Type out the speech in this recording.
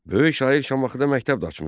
Böyük şair Şamaxıda məktəb də açmışdı.